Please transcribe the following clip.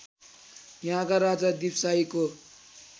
यहाका राजा दीपशाहीको